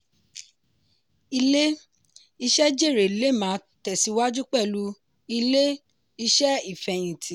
ilé-iṣẹ́ jèrè lè máa tẹ̀síwájú pẹ̀lú ilé-iṣẹ́ ìfẹ̀yinti.